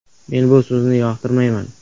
Men bu so‘zni yoqtirmayman.